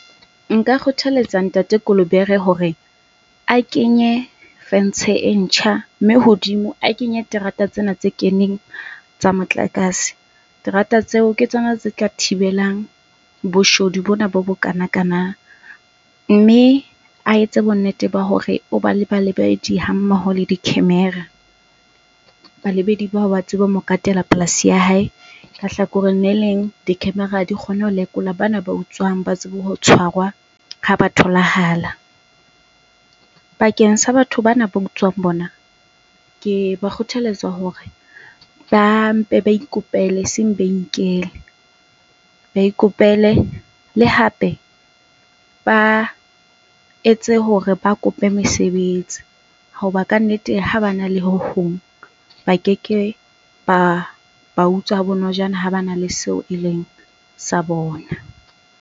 Nka kgothaletsa Ntate Kolobere hore a kenye fentshe e ntjha mme hodimo a kenye terata tsena tse keneng tsa motlakase. Terata tseo ke tsona tse tla thibelang boshodu bona bo bokana kana. Mme a etse bonnete ba hore o ba le balebedi hammoho le di-camera. Balebedi ba o ba tsebe ho mo katela polasi ya hae, ka hlakoreng leleng di-camera di kgone ho lekola bana ba utswang ba tsebe ho tshwarwa ha ba tholahala. Bakeng sa batho bana ba utswang bona, ke ba kgothaletsa hore ba mpe ba ikopele eseng ba inkele, ba ikopele. Le hape, ba etse hore ba kope mesebetsi hoba ka nnete ha bana le ho hong, ba keke ba utswa ha bonojana ha bana le seo e leng sa bona.